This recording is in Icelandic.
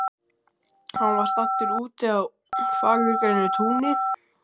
Hann var staddur úti á fagurgrænu túni.